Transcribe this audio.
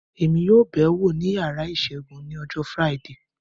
Èmi yóò bẹ̀ wò ní yàrá ìṣègùn ní ọjọ́ Friday